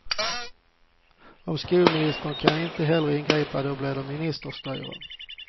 Och skolministern kan inte heller ingripa, då blir det ministerstyre.